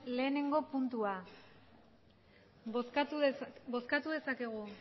batgarrena puntua bozkatu dezakegu